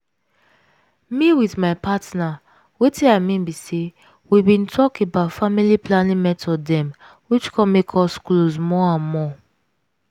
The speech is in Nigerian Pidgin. me with my partner wetin i mean be say we bin talk about family planning method dem which comes make us close more and more.